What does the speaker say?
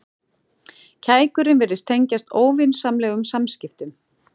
Kækurinn virtist tengjast óvinsamlegum samskiptum.